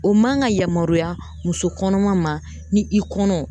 O man ga yamaruya muso kɔnɔma ma ni i kɔnɔ